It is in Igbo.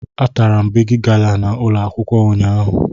Atara m Bigi gala n' ụlọ akwụkwọ ụnyaahụ